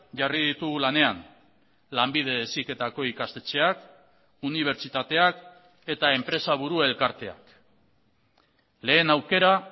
jarri ditugu lanean lanbide heziketako ikastetxeak unibertsitateak eta enpresaburu elkarteak lehen aukera